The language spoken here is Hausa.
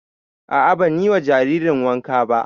A'a ban yi wa jaririn wanka ba